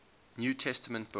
new testament books